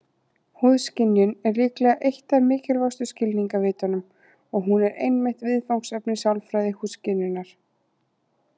Húðskynjun er líklega eitt af mikilvægustu skilningarvitunum, og hún er einmitt viðfangsefni sálfræði húðskynjunar.